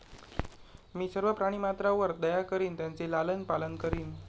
मी सर्व प्राणीमात्रावर दया करीन त्यांचे लालन पालन करीन